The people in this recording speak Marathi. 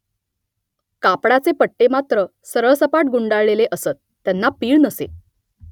कापडाचे पट्टे मात्र सरळसपाट गुंडाळलेले असत , त्यांना पीळ नसे